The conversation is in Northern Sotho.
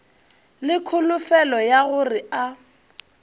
le kholofelo ya gore a